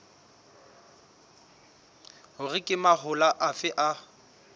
hore ke mahola afe a